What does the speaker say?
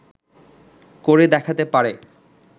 করে দেখাতে পারে